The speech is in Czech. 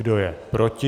Kdo je proti?